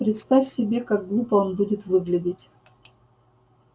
представь себе как глупо он будет выглядеть